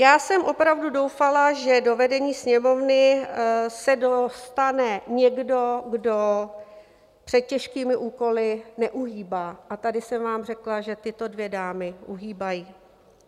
Já jsem opravdu doufala, že do vedení Sněmovny se dostane někdo, kdo před těžkými úkoly neuhýbá, a tady jsem vám řekla, že tyto dvě dámy uhýbají.